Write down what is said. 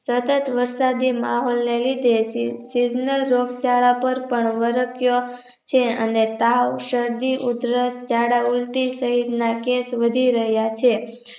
સતત વરસાદી મહોલને લીધે Seasonal રોગચાળા પર પણ વર્ષ્યો છે અને તાવ શરદી ઉધરસ ઝાડા ઉલ્ટી સહિતના case વધી રહ્યા છે